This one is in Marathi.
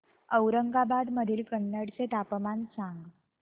औरंगाबाद मधील कन्नड चे तापमान सांग